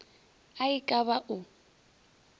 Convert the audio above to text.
a e ka ba o